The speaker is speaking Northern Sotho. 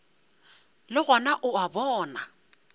le gona o a bona